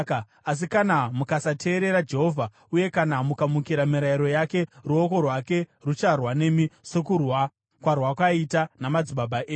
Asi kana mukasateerera Jehovha, uye kana mukamukira mirayiro yake, ruoko rwake rucharwa nemi, sokurwa kwarwakaita namadzibaba enyu.